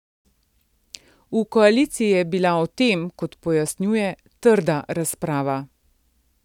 V koaliciji je bila o tem, kot pojasnjuje, trda razprava.